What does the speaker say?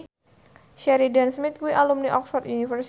Sheridan Smith kuwi alumni Oxford university